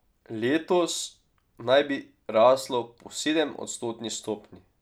Letos naj bi raslo po sedemodstotni stopnji.